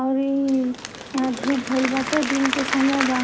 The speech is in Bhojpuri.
आऊ ई यहाँ धूप भइल बाटे दिन के समय बा--